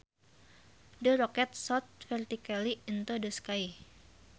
The rocket shot vertically into the sky